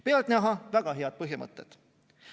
Pealtnäha väga head põhimõtted.